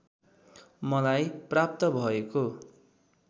मलाई प्राप्त भएको